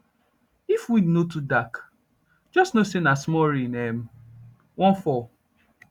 if wind no too dark just know say nah small rain um wan fall